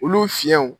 Olu fiɲɛw